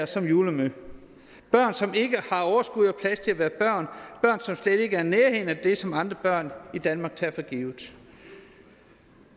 som julemad børn som ikke har overskud og plads til at være børn børn som slet ikke er i nærheden af det som andre børn i danmark tager for givet